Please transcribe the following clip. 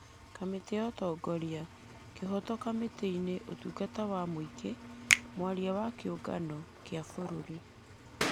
kamĩtĩ ya ũtongoria, kĩhooto, kamĩtĩ ya ũtungata wa mũingĩ , mwaria wa kĩũgano kĩa bũrũri,